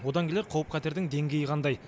одан келер қауіп қатердің деңгейі қандай